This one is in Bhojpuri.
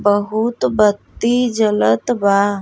बहुत बत्ती जलत बा।